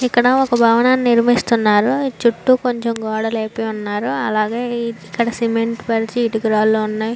ఇక్కడ ఒక భావనాన్ని నిర్మిస్తున్నారు. చుట్టూ కొంచెం గోడ లేపి ఉన్నారు. అలాగే ఇక్కడ సిమెంట్ ఇటుక రాళ్లు ఉన్నాయి.